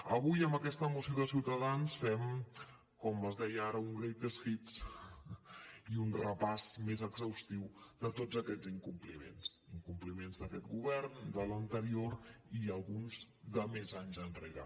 avui amb aquesta moció de ciutadans fem com es deia ara un greatest hits i un repàs més exhaustiu de tots aquests incompliments incompliments d’aquest govern de l’anterior i alguns de més anys enrere